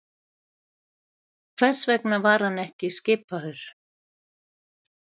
Hvers vegna var hann ekki skipaður?